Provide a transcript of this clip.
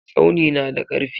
Tsauni na da karfi.